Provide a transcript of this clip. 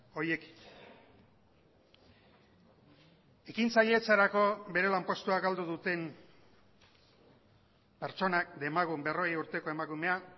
horiek ekintzailetzarako bere lanpostua galdu duten pertsonak demagun berrogei urteko emakumea